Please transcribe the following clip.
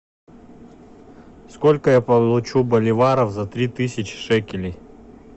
сколько я получу боливаров за три тысячи шекелей